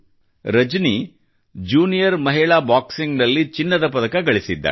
Rajani junior ಮಹಿಳಾ boxing ನಲ್ಲಿ ಚಿನ್ನದ ಪದಕ ಗಳಿಸಿದ್ದಾಳೆ